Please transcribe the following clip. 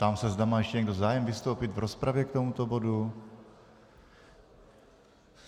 Ptám se, zda má ještě někdo zájem vystoupit v rozpravě k tomuto bodu.